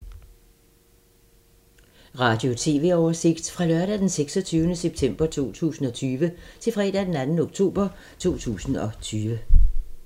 Radio/TV oversigt fra lørdag d. 26. september 2020 til fredag d. 2. oktober 2020